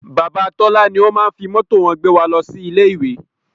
Bàbá Tọ́lá ló máá ń fi mọ́tò wọn gbé wa lọ sí ilé ìwé